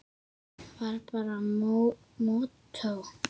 Var bara mottó.